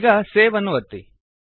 ಈಗ ಸೇವ್ ಅನ್ನು ಒತ್ತಿ